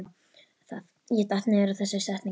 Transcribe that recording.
Ég datt niður á þessa setningu.